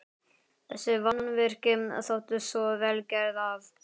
Þessi mannvirki þóttu svo vel gerð, að